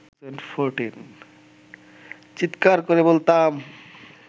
চিৎকার করে বলতাম